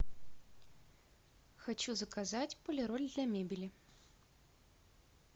хочу заказать полироль для мебели